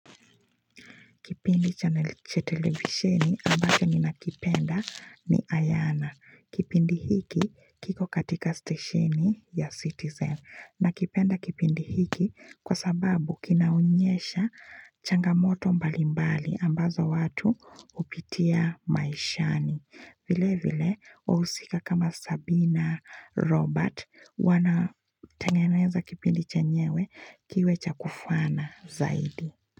Kipindi channel cha televisheni ambake ninakipenda ni Ayana. Kipindi hiki kiko katika stesheni ya Citizen. Nakipenda kipindi hiki kwa sababu kinaonyesha changamoto mbalimbali ambazo watu hupitia maishani. Vile vile, wahusika kama Sabina, Robert, wanatengeneza kipindi chenyewe kiwe cha kufana zaidi.